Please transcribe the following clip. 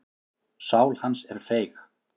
Sál hans er feig.